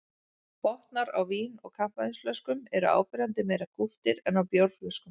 Botnar á vín- og kampavínsflöskum eru áberandi meira kúptir en á bjórflöskum.